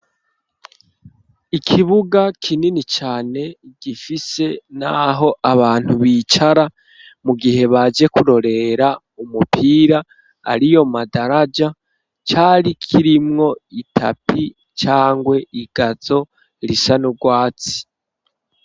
Ikibuga kinini cane, gifise n'aho abantu bicara, mu gihe baje kurorera umupira aliyo madaraja, cari kirimwo itapi ,cangwe igazo risa nurwatsi.